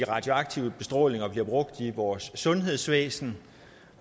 radioaktive bestråling bliver brugt i vores sundhedsvæsen